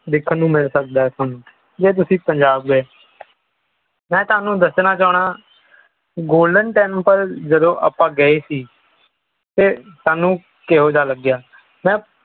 ਦੇਖਣ ਨੂੰ ਮਿਲ ਸਕਦਾ ਹੈ ਸਾਨੂੰ ਜਦੋਂ ਤੁਸੀਂ ਪੰਜਾਬ ਗਏ ਮੈਂ ਤੁਹਾਨੂੰ ਦੱਸਣਾ ਚਾਹੁੰਦਾ golden temple ਜਦੋਂ ਆਪਾਂ ਗਏ ਸੀ ਤੇ ਸਾਨੂੰ ਕਿਹੋ ਜਿਹਾ ਲੱਗਿਆ ਮੈਂ